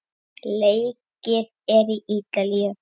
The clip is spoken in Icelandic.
Leikið er í Ítalíu.